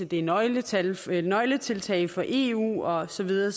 det er nøgletiltag nøgletiltag fra eu og så videre